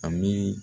A miiri